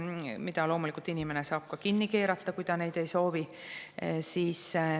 Inimene saab loomulikult need kinni keerata, kui ta neid ei soovi.